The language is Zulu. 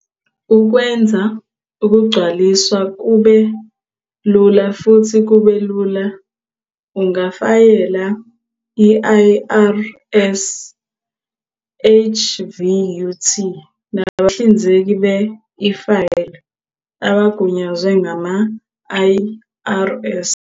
Ukwenza ukugcwaliswa kube lula futhi kube lula, ungafayela i-IRS HVUT nabahlinzeki be-e-file abagunyazwe ngama-IRS.